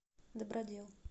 добродел